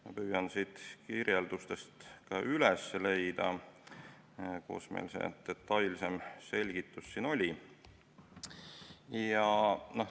Ma püüan siit kirjeldustest üles leida, kus mul see detailsem selgitus oligi.